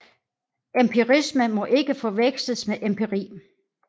Empirisme må ikke forveksles med empiri